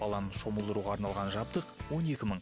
баланы шомылдыруға арналған жабдық он екі мың